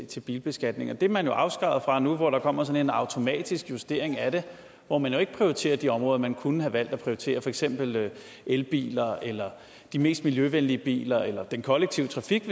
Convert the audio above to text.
til bilbeskatningen det er man jo afskåret fra nu hvor der kommer sådan en automatisk justering af det hvor man ikke prioriterer de områder man kunne have valgt at prioritere for eksempel elbiler eller de mest miljøvenlige biler eller den kollektive trafik